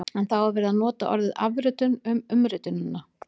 En þá er verið að nota orðið afritun um umritunina!